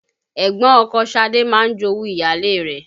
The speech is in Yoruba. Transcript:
Ẹ̀gbọ́n ọkọ Ṣadé máa ń jowú ìyáálé rẹ̀